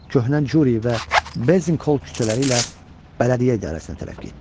Köhnə Curi və Bezinqol küçələri ilə bələdiyyə idarəsinə tərəf getdi.